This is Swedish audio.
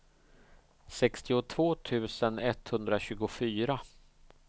sextiotvå tusen etthundratjugofyra